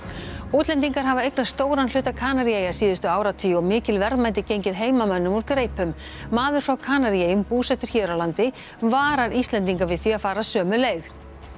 útlendingar hafa eignast stóran hluta Kanaríeyja síðustu áratugi og mikil verðmæti gengið heimamönnum úr greipum maður frá Kanaríeyjum búsettur hér á landi varar Íslendinga við því að fara sömu leið